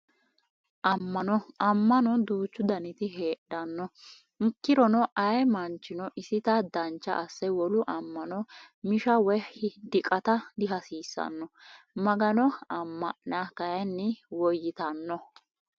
Amma'no amma'no duuchu daniti heedhanno ikkirono ayee manchino isita dancha asse wolu amma'no misha woyi diqata diihasiissanno magano amma'na kayinni woyyitanno